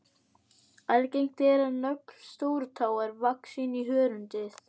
Algengt er að nögl stórutáar vaxi inn í hörundið.